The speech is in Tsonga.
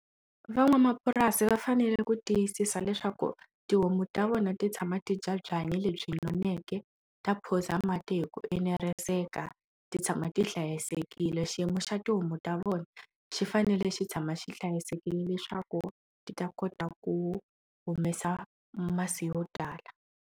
Van'wamapurasi va fanele ku tiyisisa leswaku tihomu ta vona ti tshama ti bya byanyi lebyi noneke ta phuza mati hi ku eneriseka ti tshama ti hlayisekile xiyimo xa tihomu ta vona xi fanele xi tshama xi hlayisekile leswaku ti ta kota ku humesa masi yo tala.